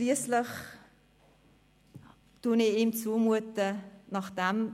Schliesslich traue ich ihm zu, nachdem